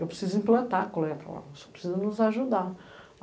Eu preciso implantar a coleta lá, você precisa nos ajudar.